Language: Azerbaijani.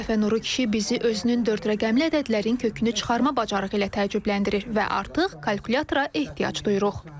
Bu dəfə Nuru kişi bizi özünün dörd rəqəmli ədədlərin kökünü çıxarma bacarığı ilə təəccübləndirir və artıq kalkulyatora ehtiyac duyuruq.